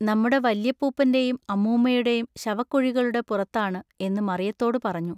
നമ്മുടെ വല്യപ്പൂപ്പന്റെയും അമ്മൂമ്മയുടെയും ശവക്കുഴികളുടെ പുറത്താണു എന്നു മറിയത്തോടു പറഞ്ഞു.